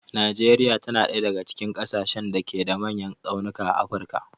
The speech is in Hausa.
Najeriya ta na ɗaya daga cikin ƙasashen da ke da manyan tsaunuka a afirka.